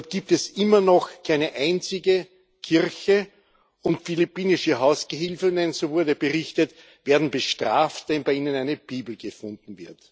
Dort gibt es immer noch keine einzige Kirche, und philippinische Hausgehilfinnen so wurde berichtet werden bestraft, wenn bei ihnen eine Bibel gefunden wird.